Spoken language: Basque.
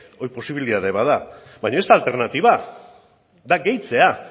hori posibilitate bat da baina ez da alternatiba da gehitzea